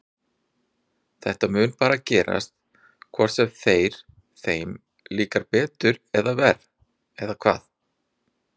Þetta mun bara gerast hvort sem þeir, þeim líkar betur eða verr eða hvað?